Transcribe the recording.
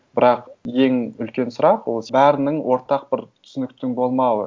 бірақ ең үлкен сұрақ ол бәрінің ортақ бір түсініктің болмауы